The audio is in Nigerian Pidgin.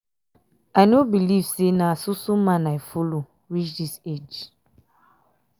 i no believe say na so so man i follow um reach dis age.